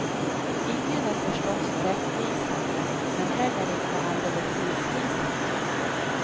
Ingen är förstås rättvisande, men heller inte alldeles missvisande.